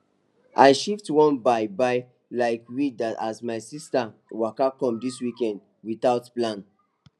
i shift one buy buy likwe that as my sister waka come this weekend without plan